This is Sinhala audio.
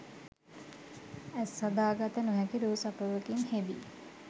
ඇස් අදහාගත නොහැකි රූ සපුවකින් හෙබි